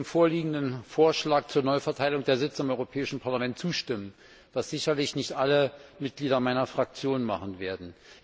Ich werde dem vorliegenden Vorschlag zur Neuverteilung der Sitze im Europäischen Parlament zustimmen, was sicherlich nicht alle Mitglieder meiner Fraktion tun werden.